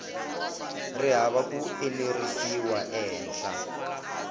ri hava ku enerisiwa ehenhla